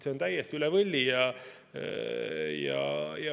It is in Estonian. See on täiesti üle võlli.